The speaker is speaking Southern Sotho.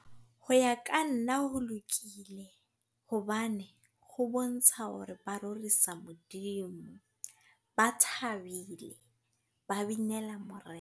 Ho ya ka nna ho lokile. Hobane ho bontsha hore ba rorisa Modimo. Ba thabile, ba binela Morena.